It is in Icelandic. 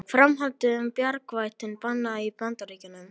Framhaldið um bjargvættinn bannað í Bandaríkjunum